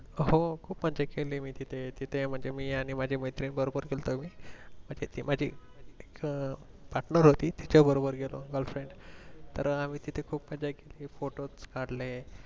हो खूप मज्जा केली ये मी तिथे तिथे म्हणजे मी आणि माझी मैत्रीण बरोबर गेलतो आम्ही म्हणजे ती माझी partner होती तिच्या बरोबर गेलो Girlfriend आम्ही तिथे खूप मज्जा केली photos काडले.